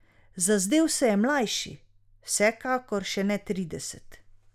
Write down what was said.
Zazdel se je mlajši, vsekakor še ne trideset.